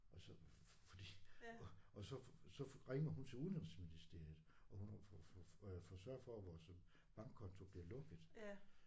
Og så fordi og og så så ringer hun til udenrigsministeriet og hun får sørger for vores at bankkonto bliver lukket